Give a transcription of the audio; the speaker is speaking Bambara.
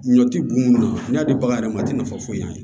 Ɲɔ ti buna n'a di bagan yɛrɛ ma a te nafa foyi ɲɛ a ye